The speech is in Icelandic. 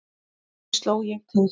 Því sló ég til.